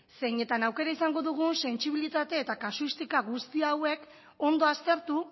zeinetan aukera izango dugun sentsibilitate eta kasuistika guzti hauek ondo aztertu